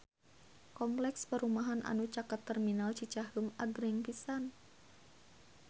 Kompleks perumahan anu caket Terminal Cicaheum agreng pisan